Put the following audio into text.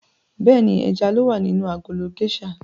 Bẹ́ẹ̀ni, ẹja ló wà nínú agolo géṣà.